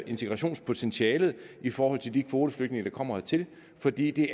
integrationspotentialet i forhold til de kvoteflygtninge der kommer hertil fordi det